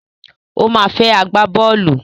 Ó ma fẹ́ agbábọ́ọ̀lù.